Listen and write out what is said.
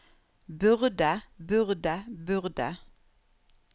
burde burde burde